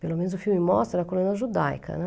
Pelo menos o filme mostra a colônia judaica, né.